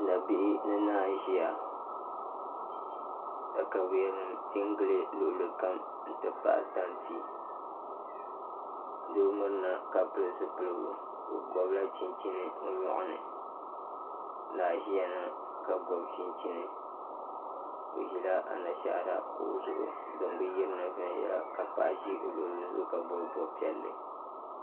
Nabihi ni naa n ʒiya katawiya nim tiɛ n gili luɣuli kam n ti pahi tanti doo mirina ka pili zipiligu o gibla chinchini o nyoɣa ni naa n ʒiya ŋo ka gobi chinchini o ʒila anashaara kuɣu zuɣu din bi yirina viɛnyɛlinga ka paɣa ʒi o luɣuli zuɣu ka bob bob piɛlli